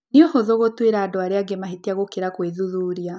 Nĩ ũhũthũ gũtuĩra andũ arĩa angĩ mahĩtia gũkĩra kwĩthuthuria.